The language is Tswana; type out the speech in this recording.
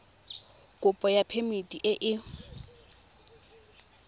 kopo ya phemiti e e